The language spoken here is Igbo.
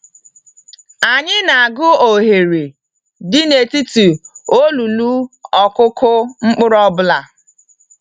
Anyi n'agu ohere dị n'etiti olulu ọkụkụ mkpụrụ ọbụla.